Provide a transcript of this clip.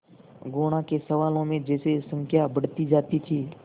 गुणा के सवालों में जैसे संख्या बढ़ती जाती थी